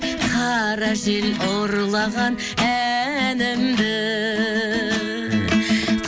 қара жел ұрлаған әнімді